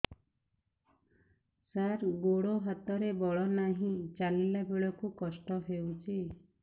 ସାର ଗୋଡୋ ହାତରେ ବଳ ନାହିଁ ଚାଲିଲା ବେଳକୁ କଷ୍ଟ ହେଉଛି